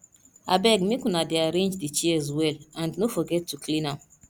abeg make una dey arrange the chairs well and no forget to clean am